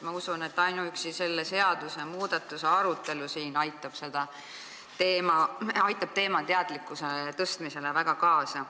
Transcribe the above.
Ma usun, et ainuüksi selle seadusmuudatuse arutelu siin aitab sel teemal teadlikkuse tõstmisele väga kaasa.